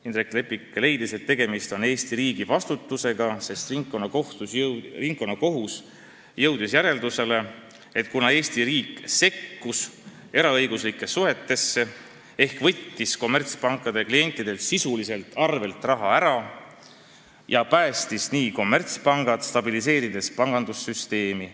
Indrek Leppik leidis, et tegemist on Eesti riigi vastutusega, sest ringkonnakohus jõudis järeldusele, et Eesti riik sekkus eraõiguslikesse suhetesse ehk võttis kommertspankade klientidelt sisuliselt arvelt raha ära ja päästis nii kommertspangad, stabiliseerides pangandussüsteemi.